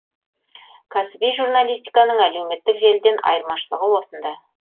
кәсіби журналистиканың әлеуметтік желіден айырмашылығы осында